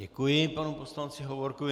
Děkuji panu poslanci Hovorkovi.